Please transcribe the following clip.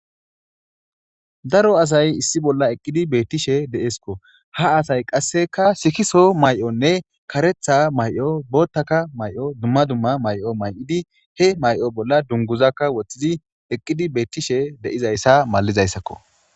Daro asay issi bolla eqqidi beettishe de'esikko. Ha asay qasseka sikiso mayonne karetha mayo booththaka mayo dumma dumma mayo mayidi he mayo bolla dunguzakka woththizi eqqidi beettishe de'iza issa malatessikko.